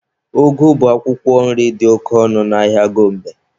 Ụgụ bụ akwụkwọ nri dị oke ọnụ n'ahịa Gombe.